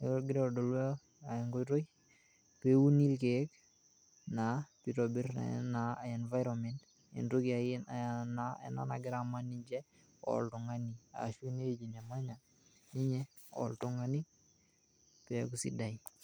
neaku egira adolu enkoitoi peuni irkeek naa peitobirr naa [cs[ environment entoki ake iye ena nagira aman ninche oltungani ashu weji nemanya ninye oltungani peaku sidai.